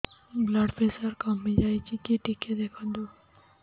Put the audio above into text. blood pressure କମି ଯାଉଛି କି ଟିକେ ଦେଖନ୍ତୁ